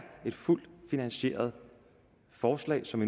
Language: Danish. et fuldt finansieret forslag som